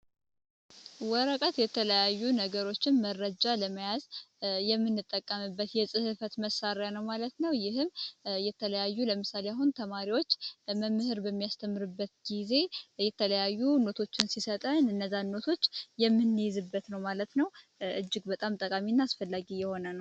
ወረቀት የተለያዩ ነገሮችን መረጃ ለመያዝ የምንጠቀምበት የፅህፈት መሳሪያ ነው ማለት ነው። ይህም የተለያዩ ለምሳ ተማሪዎች መምህር በሚያስተምርበት ጊዜ የተለያዩ ኖቶች ሲሰጠን እኘዚያን ኖቶችን የምንይዝበት እጅ በጣም አስፈላጊ እና ጠቃሚ የሆነ ነው።